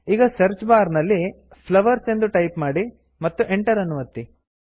ಈಗ search bar ನಲ್ಲಿ flowers flowers ಎಂದು ಟೈಪ್ ಮಾಡಿ ಮತ್ತು Enter ಎಂಟರ್ ಅನ್ನು ಒತ್ತಿ